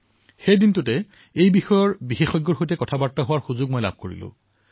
আৰু সেইদিনা কিছু বিশেষজ্ঞৰ সৈতে বাৰ্তালাপ কৰাৰো মই সুযোগ লাভ কৰিছিলো